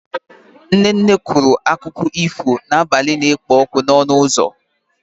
Nne nne kwuru akụkọ ifo n'abalị na-ekpo ọkụ n'ọnụ ụzọ.